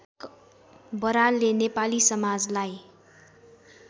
बरालले नेपाली समाजलाई